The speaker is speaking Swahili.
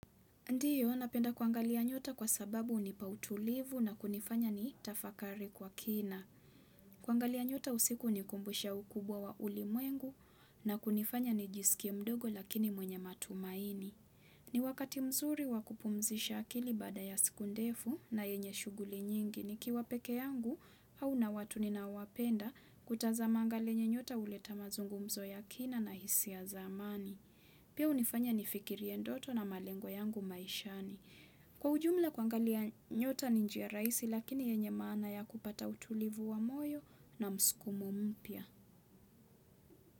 Ndiyo, napenda kuangalia nyota kwa sababu hunipa utulivu na kunifanya nitafakari kwa kina. Kuangalia nyota usiku hunikumbusha ukubwa wa ulimwengu na kunifanya nijisikie mdogo lakini mwenye matumaini. Ni wakati mzuri wa kupumzisha akili baada ya siku ndefu na yenye shughuli nyingi nikiwa peke yangu au na watu ninaowapenda kutazamanga lile nyota huleta mazungumzo ya kina na hisia za amani. Pia hunifanya nifikirie ndoto na malengo yangu maishani. Kwa ujumla kuangalia nyota ni njia raisi lakini yenye maana ya kupata utulivu wa moyo na mskumo mpya.